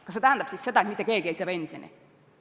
Kas see tähendab siis seda, et mitte keegi ei saa pensioni?